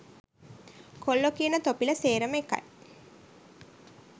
කොල්ලෝ කියන තොපිලා සේරම එකයි